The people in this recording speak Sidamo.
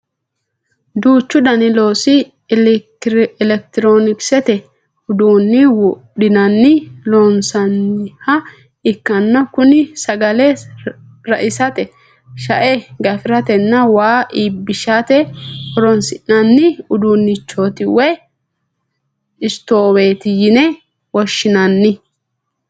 Duuchu dani loosi elekitiroonisete uduunni widoonni loonsanniha ikkanna kuni sagale raisate shae gafiratenna waa iibbishate horonsi'nanni udduunnichooti woye stoowete yine woshshinanni